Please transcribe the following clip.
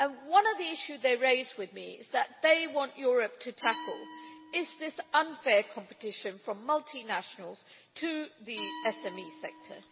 One of the issues they raised and which they want Europe to tackle is this unfair competition from multinationals to the SME sector.